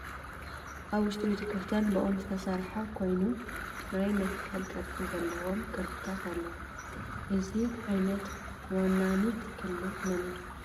እዚ ኣብ ውሽጢ ቤተ-ክርስትያን ብኦም ዝተሰርሐ ኮይኑ ናይ መስቀል ቅርፂ ዘለዎም ቅርፂታት ኣለው:: እዚ ዓይነት ወናኒት ክልል መን እያ ?